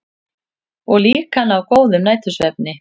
Og líka ná góðum nætursvefni.